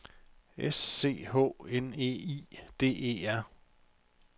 S C H N E I D E R